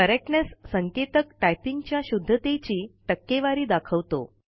correctness संकेताक टाईपिंगच्या शुद्धतेची टक्केवारी दाखवतो